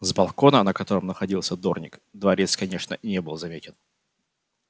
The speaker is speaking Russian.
с балкона на котором находился дорник дворец конечно не был заметен